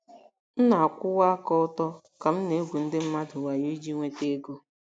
M ̀ na - akwụwa aka ọtọ ka m ̀ na - egwu ndị mmadụ wayo iji nweta ego?